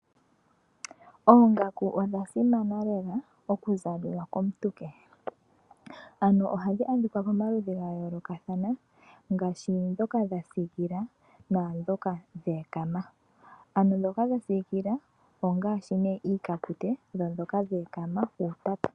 Oongaku odha simana lela oku zaliwa komuntu kohi . Ohadhi adhika pomaludhi ga yoolokathana ngaashi ndhoka dhasiikila naandhoka dha ekama ano ndhoka dha siikila ongaashi nee iikapute ,dhoka dha ekama ongaashi iitapa.